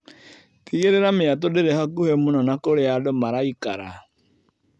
Tigĩrĩra mĩatũ ndĩri hakuhĩ mũno na kũrĩa andũ maraikara.